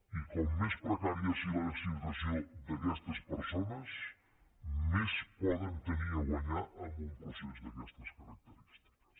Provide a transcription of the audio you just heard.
i com més precària sigui la situació d’aquestes persones més poden tenir a guanyar en un procés d’aquestes característiques